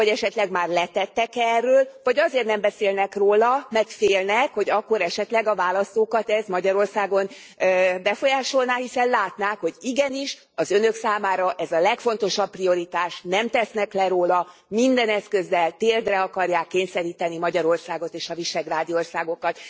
Vagy esetleg már letettek e erről? Vagy azért nem beszélnek róla, mert félnek, hogy akkor esetleg a választókat ez Magyarországon befolyásolná, hiszen látnák, hogy igenis az Önök számára ez a legfontosabb prioritás, nem tesznek le róla, minden eszközzel térdre akarják kényszeríteni Magyarországot és a visegrádi országokat.